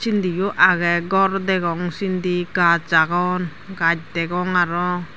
sindi yo agey gor degong sindi gaj agon gaj degong arow.